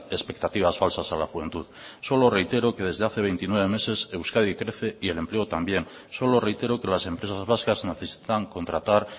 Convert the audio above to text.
expectativas falsas a la juventud solo reitero que desde hace veintinueve meses euskadi crece y el empleo también solo reitero que las empresas vascas necesitan contratar